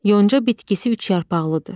Yonca bitkisi üç yarpaqlıdır.